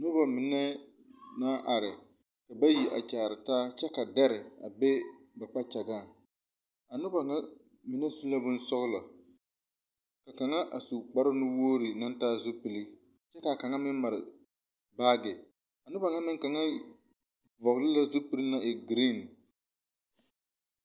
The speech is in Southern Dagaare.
Nobɔ mine naŋ su bon bluu tuŋ toore peɛɛle kyɛ kaa kaŋa hɔɔle zupil zeɛ mɛɛrɛ la zie a nobɔ ŋa a birikirre e la zeere ko are a sɛterrɛ kyɛ kaa kaŋa meŋ yi te are o niŋeŋ a meŋ kaara o meŋ deme.